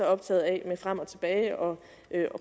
optaget af med frem og tilbage og